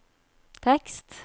tekst